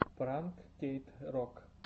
пранк кейт рок